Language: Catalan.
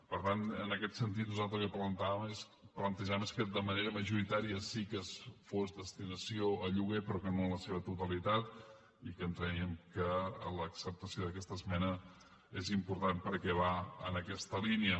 per tant nosaltres en aquest sentit el que plantegem és que de manera majoritària sí que fos destinació a lloguer però que no en la seva totalitat i que creiem que l’acceptació d’aquesta esmena és important perquè va en aquesta línia